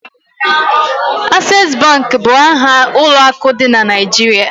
Ases Bank bụ aha ụlọ akụ dị na Naịjirịa